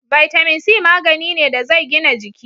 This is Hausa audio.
Vitamin c magani ne da zai gina jiki